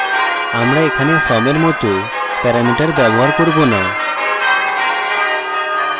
আমরা এখানে from we মত প্যারামিটার ব্যবহার করব না